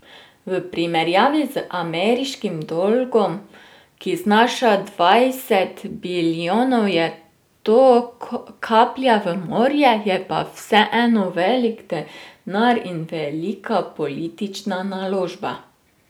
V primerjavi z ameriškim dolgom, ki znaša dvajset bilijonov, je to kaplja v morje, je pa vseeno velik denar in velika politična naložba.